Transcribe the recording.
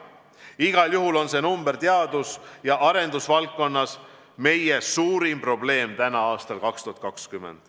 Igal juhul on see arv teadus- ja arendusvaldkonnas meie suurim probleem aastal 2020.